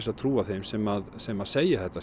að trúa þeim sem sem segja þetta